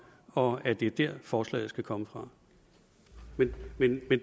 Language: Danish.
og at det er der forslaget skal komme fra men men